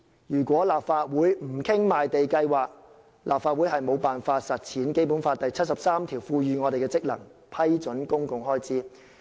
如果立法會不討論賣地計劃，便無法履行《基本法》第七十三條賦予我們的職能：批准公共開支。